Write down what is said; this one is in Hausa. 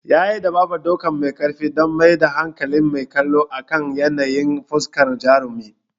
Yayi amfani da dabarar ɗauka mai karfi don mayar da hankalin mai kallo akan yanayin fuskar jarumin.